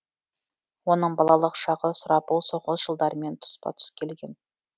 оның балалық шағы сұрапыл соғыс жылдарымен тұспа тұс келген